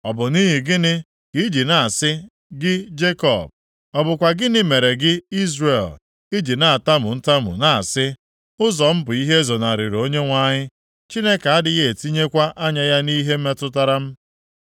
Ọ bụ nʼihi gịnị ka i ji na-asị, gị Jekọb? Ọ bụkwa gịnị mere gị Izrel, i ji na-atamu ntamu na-asị, “Ụzọ m bụ ihe ezonarịrị Onyenwe anyị, Chineke adịghị etinyekwa anya ya nʼihe metụtara m?”